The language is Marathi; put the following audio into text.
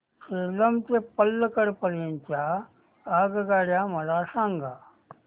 सेलम ते पल्लकड पर्यंत च्या आगगाड्या मला सांगा